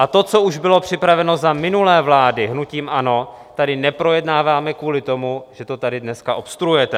A to, co už bylo připraveno za minulé vlády hnutím ANO, tady neprojednáváme kvůli tomu, že to tady dneska obstruujete.